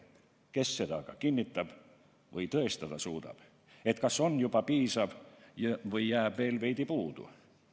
Kes seda aga kinnitab või tõestada suudab, kas on juba piisav kaitsevõime või jääb veel veidi puudu?